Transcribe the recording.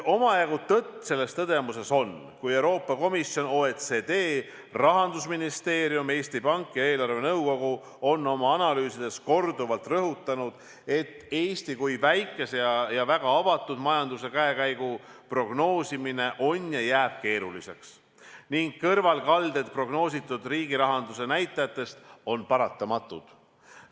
Omajagu tõtt selles tõdemuses on, kuid Euroopa Komisjon, OECD, Rahandusministeerium, Eesti Pank ja eelarvenõukogu on oma analüüsides korduvalt rõhutanud, et Eesti kui väikese ja väga avatud majanduse käekäigu prognoosimine on keeruline ja jääb keeruliseks ning kõrvalekalded prognoositud riigirahanduse näitajatest on paratamatud.